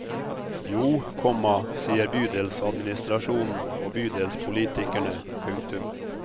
Jo, komma sier bydelsadministrasjonen og bydelspolitikerne. punktum